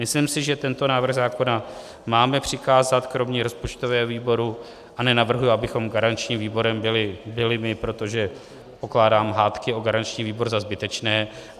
Myslím si, že tento návrh zákona máme přikázat kromě rozpočtového výboru - a nenavrhuji, abychom garančním výborem byli my, protože pokládám hádky o garanční výbor za zbytečné.